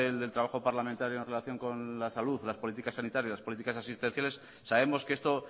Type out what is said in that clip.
del trabajo parlamentario en relación con la salud las políticas sanitarias las políticas asistenciales sabemos que esto